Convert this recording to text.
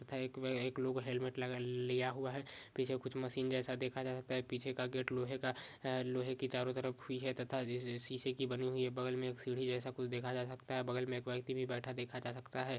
ईथ एक वे -- एक लोग हेलमेट लगा लिया हुआ है पीछे कुछ मशीन जैसा देखा जा सकता है पीछे का गेट लोहे का है लोहे की चारो तरफ तथा जिस शीशे से बनी हुई है बगल मे कुछ सीढ़ी जैसा देखा जा सकता है बगल मे एक व्यक्ति भी बैठा देखा जा सकता है।